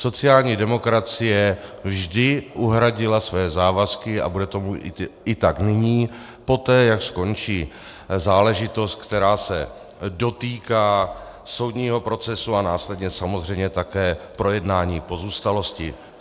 Sociální demokracie vždy uhradila své závazky a bude tomu tak i nyní poté, jak skončí záležitost, která se dotýká soudního procesu, a následně samozřejmě také projednání pozůstalosti.